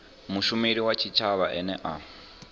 mushumeli wa tshitshavha ane a